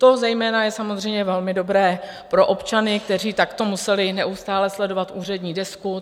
To zejména je samozřejmě velmi dobré pro občany, kteří takto museli neustále sledovat úřední desku.